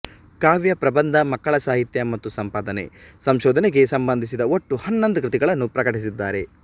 ಕಾವ್ಯ ಪ್ರಬಂಧ ಮಕ್ಕಳಸಾಹಿತ್ಯ ಮತ್ತು ಸಂಪಾದನೆ ಸಂಶೋಧನೆಗೆ ಸಂಬಂಧಿಸಿದ ಒಟ್ಟು ಹನ್ನೊಂದು ಕೃತಿಗಳನ್ನು ಪ್ರಕಟಿಸಿದ್ದಾರೆ